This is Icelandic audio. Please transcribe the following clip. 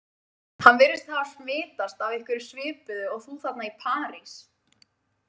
Hann virðist hafa smitast af einhverju svipuðu og þú þarna í París